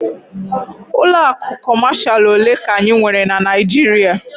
Ụlọ akụ Kọmashal ole ka anyị nwere na Naịjirịa?